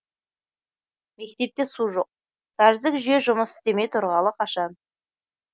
мектепте су жоқ кәріздік жүйе жұмыс істемей тұрғалы қашан